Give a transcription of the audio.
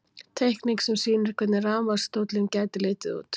Teikning sem sýnir hvernig rafmagnsstóllinn gæti litið út.